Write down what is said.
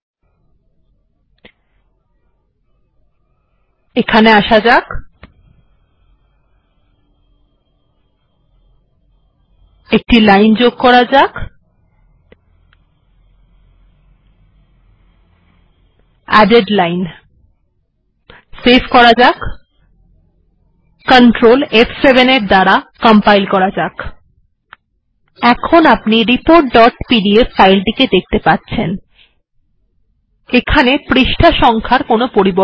আমি এখানে added line এই লাইন টি যোগ করলাম সেভ করলাম এবং এরপর সিআরটিএল ফ7 করলাম